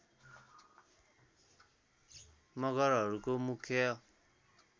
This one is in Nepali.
मगरहरूको मुख्य